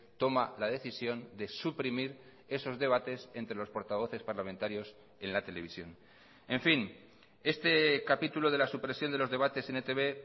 toma la decisión de suprimir esos debates entre los portavoces parlamentarios en la televisión en fin este capítulo de la supresión de los debates en etb